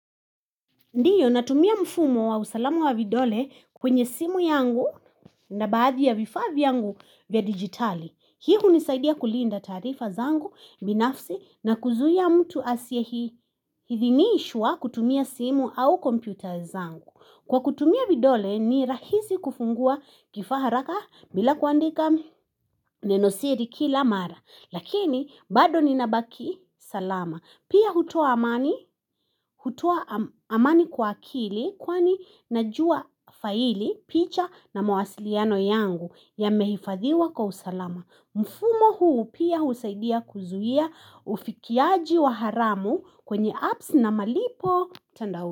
Ndiyo natumia mfumo wa usalamu wa vidole kwenye simu yangu na baadhi ya vifadhi yangu vya digitali Hii hunisaidia kulinda tarifa zangu binafsi na kuzuia mtu asie Hithiniishwa kutumia simu au kompyuta zangu Kwa kutumia vidole ni rahisi kufungua kifaa haraka bila kuandika nenosiri kila mara Lakini bado ninabaki salama Pia hutoa amani kwa akili kwani najua faili picha na mawasiliano yangu ya mehifadhiwa kwa usalama mfumo huu pia husaidia kuzuhia ufikiaji wa haramu kwenye apps na malipo.